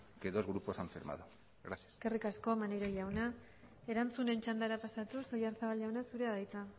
que dos grupos han firmado eskerrik asko maneiro jauna erantzunen txandara pasatuz oyarzabal jauna zurea da hitza